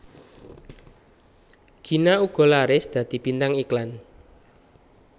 Gina uga laris dadi bintang iklan